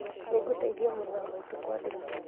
Nĩngũteithia mũrũ wa maitũ kwandĩka